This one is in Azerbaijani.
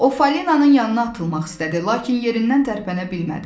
O Fəlinanın yanına atılmaq istədi, lakin yerindən tərpənə bilmədi.